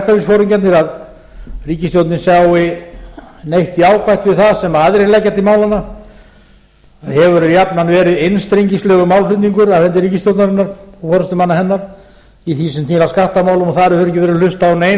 en verkalýðsforingjarnir að ríkisstjórnin sjái neitt jákvætt við það sem aðrir leggja til málanna það hefur jafnan verið einstrengingslegur málflutningur af hendi ríkisstjórnarinnar og forustumanna hennar í því sem snýr að skattamálum og þar hefur ekki verið hlustað á nein